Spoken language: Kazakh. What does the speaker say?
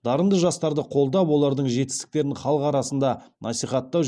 дарынды жастарды қолдап олардың жетістіктерін халық арасында насихаттау